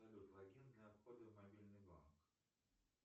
салют логин для входа в мобильный банк